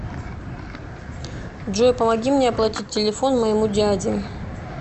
джой помоги мне оплатить телефон моему дяде